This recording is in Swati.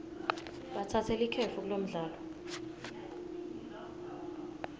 batsatse likefu kulomdlalo